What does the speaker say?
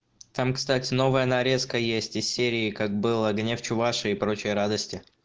там кстати новая нарезка есть из серии как было огне в чувашии и прочие радости